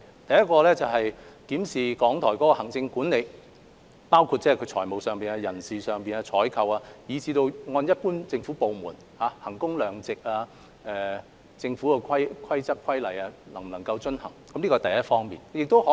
第一，檢視港台的行政管理，包括財務管制、人力資源管理和採購事宜，對港台作為一般政府部門，進行衡工量值式評估，檢視其能否遵行政府規則和規例。